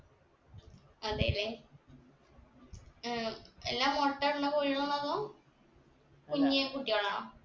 അതെ ല്ലേ ഏർ എല്ലാം മൊട്ട ഇടണ കോഴികളാണോ അതോ കുഞ്ഞി കുട്ടികളാണോ